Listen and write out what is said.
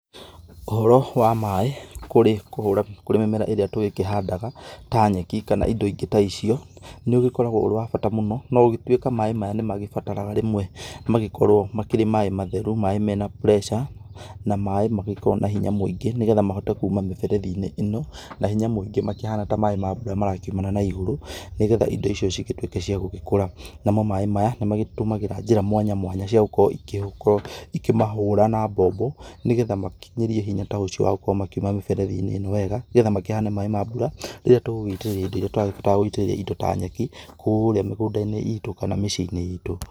Ũhoro wa maĩ kũrĩ kũhũra kũrĩ mĩmera ĩrĩa tũgĩkĩhandaga ta nyeki kana indo ingĩ ta icio, nĩ ũgĩkoragwo ũrĩ wa bata mũno, no gũgĩtuika maĩ maya nĩ magĩbataraga rĩmwe magĩkorwo makĩrĩ maĩ matheru maĩ mena pressure, na maĩ magĩkoragwo mena hinya mũingĩ, nĩgetha mahote kũma mĩberethi-inĩ ĩno makĩhana ta maĩ ma mbũra marakiumana na ĩgũrũ, nĩgetha indo icio cikorwo cia gũkũra, namo maĩ maya nĩ magĩtũmagĩra njĩra mwanya mwanya cia gũkorwo ikĩmahũra na mbombo, nĩgetha makĩnyĩrie hinya ta ũcio wagũkorwo makĩuma mĩberethi-inĩ ĩno wega, nĩgetha makĩhane ta maĩ ma mbura rĩrĩa tũgũgĩitĩrĩria indo ĩrĩa tũrabatara gũitĩrĩria indo ta nyeki kũrĩa mĩgũnda-inĩ itũ kana mĩciĩ-inĩ itũ.